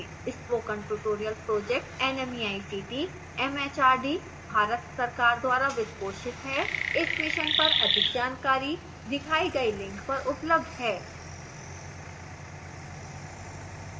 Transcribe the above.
spoken tutorial project nmeict mhrd Bharat सरकार द्वारा वित्त पोषित है इस mission पर अधिक जानकारी दिखाई गई link पर उपलब्ध है